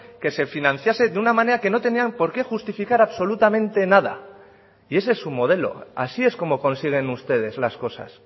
que se financiase de una manera que no tenían porqué justificar absolutamente nada y ese es su modelo así es como consiguen ustedes las cosas